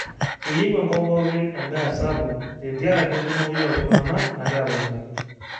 keyieu enkop pooki en'daa sapuk te ntiaraki enkumoi oo ltung'anak nagira aponari